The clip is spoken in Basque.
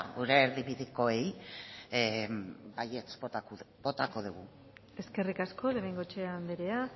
gure erdibidekoari baietz bozkatuko dugu eskerrik asko de bengoechea anderea